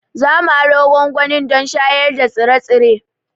Za mu aro gwangwani don shayar da tsire-tsire.